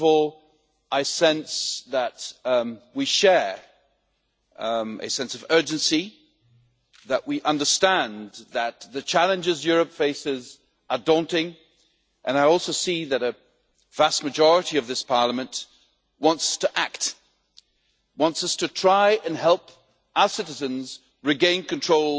First of all, I sense that we share a sense of urgency that we understand that the challenges Europe faces are daunting and I also see that the vast majority of this Parliament wants to act, and wants us to try and help our citizens regain control